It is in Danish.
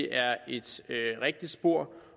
er et rigtigt spor